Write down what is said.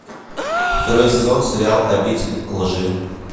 второй сезон сериал обитель лжи